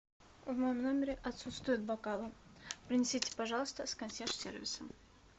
в моем номере отсутствуют бокалы принесите пожалуйста с консьерж сервиса